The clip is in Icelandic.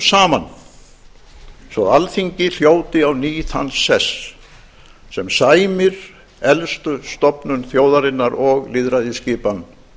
saman svo alþingi hljóti á ný þann sess sem sæmir elstu stofnun þjóðarinnar og lýðræðisskipan